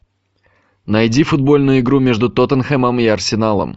найди футбольную игру между тоттенхэмом и арсеналом